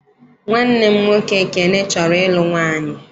Nwanne m nwoke Ekene chọrọ ịlụ nwaanyị.